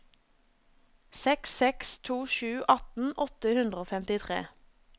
seks seks to sju atten åtte hundre og femtitre